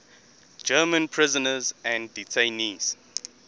german prisoners and detainees